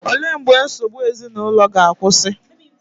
Olee mgbe nsogbu ezinụlọ ga-akwụsị?